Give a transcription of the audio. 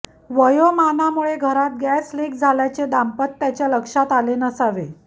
वयोमानामुळे घरात gas leak झाल्याचे दांपत्याच्या लक्षात आले नसावे